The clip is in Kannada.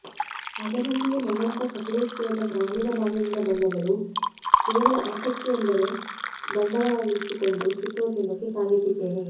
ಅದರಲ್ಲಿಯೂ ನನ್ನಂಥ ಸಕಲೇಶಪುರದ ಗ್ರಾಮೀಣ ಭಾಗದಿಂದ ಬಂದವಳು ಕೇವಲ ಆಸಕ್ತಿಯೊಂದನ್ನೇ ಬಂಡವಾಳವಾಗಿಸಿಕೊಂಡು ಚಿತ್ರೋದ್ಯಮಕ್ಕೆ ಕಾಲಿಟ್ಟಿದ್ದೇನೆ